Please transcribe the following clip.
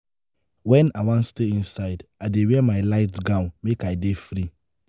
wen i wan stay inside i dey wear my light gown make i dey free.